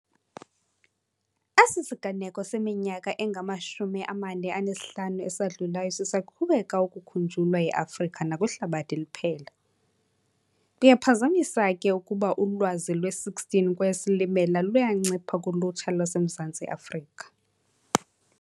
Esi siganeko seminyaka engama-45 esadlulayo sisaqhubeka ukukhunjulwa e-Afrika nakwihlabathi liphela. Kuyaphazamisake ukuba ulwazi lwe-16 kweyeSilimela luyancipha kulutsha lwaseMzantsi Afrika.